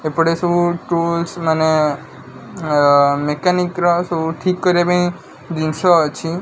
ଏପଟେ ସବୁ ଟୁଲସ୍ ମାନେ ଅଂ ମେକାନିକ୍ ର ସବୁ ଠିକ୍ କରିବା ପାଇଁ ଜିନିଷ ଅଛି।